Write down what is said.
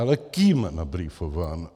Ale kým nabrífován?